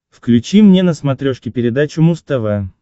включи мне на смотрешке передачу муз тв